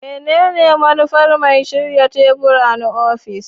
Menene manufar mai shirya tebur na ofis?